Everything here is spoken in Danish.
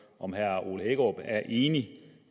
om herre ole hækkerup er enig